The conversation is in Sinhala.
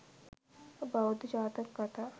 බෞද්ධ ජාතක කථා